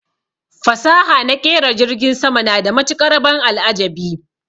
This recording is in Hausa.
Fasaha naƙera jirgin sama na da matuƙar ban al'ajabi